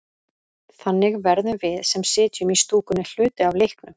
Þannig verðum við, sem sitjum í stúkunni, hluti af leiknum.